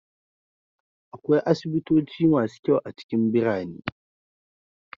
Akwai asibitoci masu kyau a cikin birane.